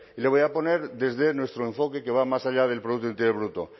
le voy a poner desde nuestro enfoque que va más allá del producto interior bruto